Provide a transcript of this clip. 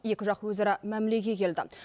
екі жақ өзара мәмілеге келді